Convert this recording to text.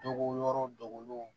Dogo yɔrɔw dogolenw